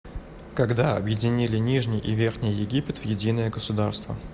когда объединили нижний и верхний египет в единое государство